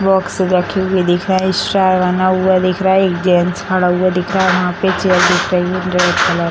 box रखे हुए दिख रहे हैं स्टार बना हुआ दिख रहा है एक जेंट्स खड़ा हुआ दिख रहा है वहाँ पर चेयर दिख रही है ब्लैक कलर --